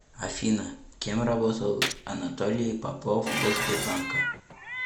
афина кем работал анатолий попов до сбербанка